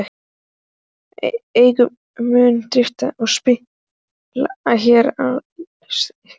Enginn mun dirfast að spila hér án ykkar leyfis.